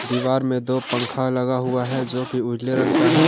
दीवार में दो पंख लगा हुआ है जोकि उजले रंग का है।